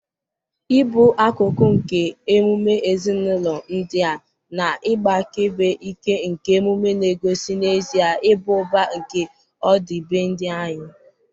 ịbụ akụkụ nke emume ezinụlọ ndị a na ịgba akaebe ike nke emume na-egosi n'ezie ịba ụba nke ọdịbendị anyị.